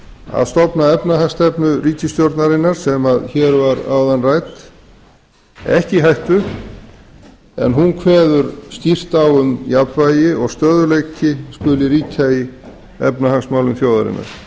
að stofna efnahagsstefnu ríkisstjórnarinnar sem hér var áðan rædd ekki í hættu en hún kveður skýrt á um að jafnvægi og stöðugleiki skuli ríkja í efnahagsmálum þjóðarinnar